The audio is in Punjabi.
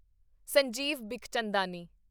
ਸੰਜੀਵ ਬਿਖਚੰਦਾਨੀ